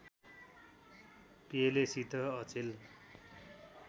पेलेसित अचेल